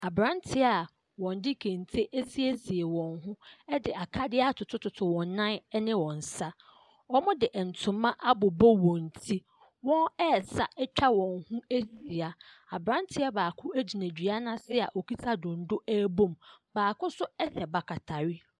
Abranteɛ a wɔde kente asiesie wɔn ho ɛde akadeɛ atotototo wɔn nan ɛne wɔn nsa wɔnmmo de ntoma abobɔ wɔn ti wɔn ɛsa atwa wɔn ho ahyia abranteɛ baako agyina dua no ase a okita dondo ɛbom baako nso ɛhyɛ bakatare.